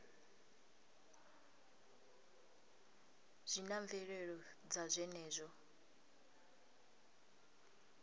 zwi na mvelelo dza zwenezwo